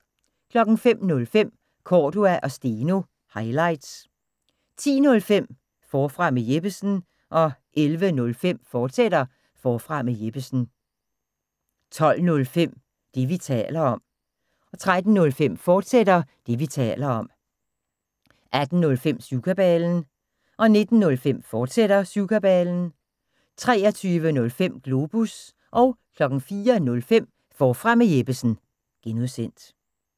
05:05: Cordua & Steno – highlights 10:05: Forfra med Jeppesen 11:05: Forfra med Jeppesen, fortsat 12:05: Det, vi taler om 13:05: Det, vi taler om, fortsat 18:05: Syvkabalen 19:05: Syvkabalen, fortsat 23:05: Globus 04:05: Forfra med Jeppesen (G)